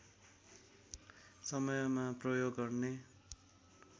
समयमा प्रयोग गर्ने